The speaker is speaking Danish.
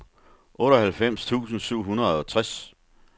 otteoghalvfems tusind syv hundrede og tres